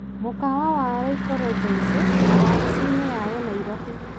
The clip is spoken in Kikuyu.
mũkawa wa Laico Regency na wabici-inĩ yayo Nairobi.